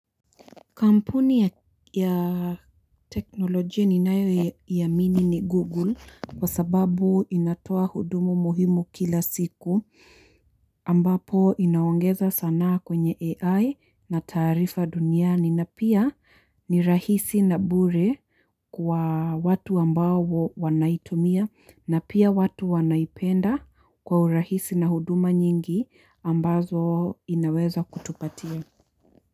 Kampuni ya teknolojia ninayo iamini ni Google kwa sababu inatoa hudumu muhimu kila siku ambapo inaongeza sanaa kwenye AI na taarifa duniani na pia ni rahisi na bure kwa watu ambao wanaitumia na pia watu wanaipenda kwa urahisi na huduma nyingi ambazo inaweza kutupatia.